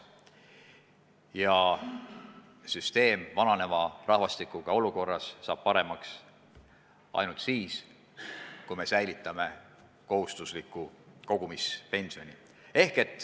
Ja süsteem saab vananeva rahvastiku korral paremaks ainult siis, kui me säilitame kohustusliku kogumispensioni.